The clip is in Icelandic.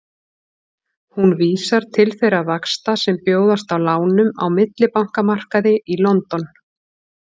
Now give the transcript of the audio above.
Hún vísar til þeirra vaxta sem bjóðast á lánum á millibankamarkaði í London.